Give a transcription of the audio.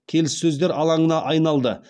келіссөздер алаңына айналды